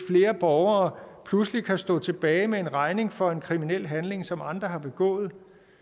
flere borgere pludselig kan stå tilbage med en regning for en kriminel handling som andre har begået